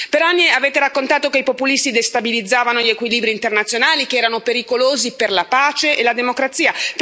Per anni avete raccontato che i populisti destabilizzavano gli equilibri internazionali, che erano pericolosi per la pace e la democrazia.